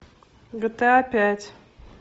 гта пять